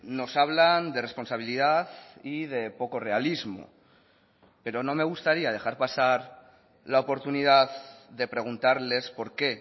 nos hablan de responsabilidad y de poco realismo pero no me gustaría dejar pasar la oportunidad de preguntarles por qué